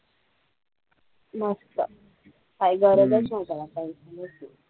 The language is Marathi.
मस्त काही गरजचं नाही त्याला काही